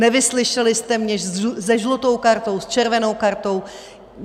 Nevyslyšeli jste mě se žlutou kartou, s červenou kartou.